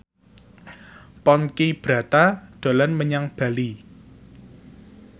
Ponky Brata dolan menyang Bali